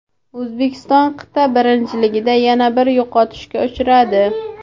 O‘zbekiston qit’a birinchiligida yana bir yo‘qotishga uchradi.